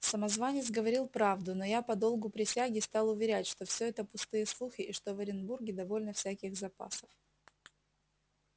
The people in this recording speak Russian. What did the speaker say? самозванец говорил правду но я по долгу присяги стал уверять что все это пустые слухи и что в оренбурге довольно всяких запасов